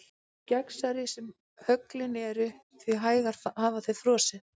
Því gegnsærri sem höglin eru því hægar hafa þau frosið.